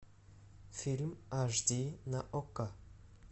фильм аш ди на окко